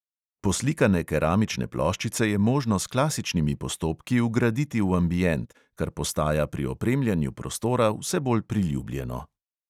Poslikane keramične ploščice je možno s klasičnimi postopki vgraditi v ambient, kar postaja pri opremljanju prostora vse bolj priljubljeno.